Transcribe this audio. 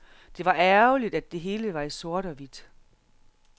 Det var ærgerligt, at det hele var i sort og hvidt.